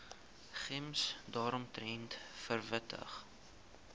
gems daaromtrent verwittig